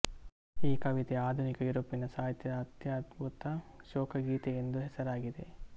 ಈ ಕವಿತೆ ಆಧುನಿಕ ಯುರೋಪಿನ ಸಾಹಿತ್ಯದ ಅತ್ಯದ್ಭುತ ಶೋಕಗೀತೆಯೆಂದು ಹೆಸರಾಗಿದೆ